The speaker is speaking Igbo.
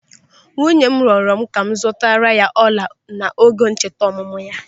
Nwunye m rịọrọ m ka m zụtara ya ọla n'oge ncheta ọmụmụ ya.